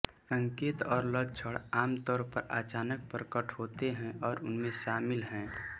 संकेत और लक्षण आमतौर पर अचानक प्रकट होते हैं और उनमें शामिल हैं